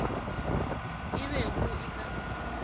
e be go e ka